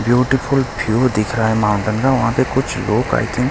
beautiful view दिख रहा है माउंटन का वहां पे कुछ लोग आई थिंक --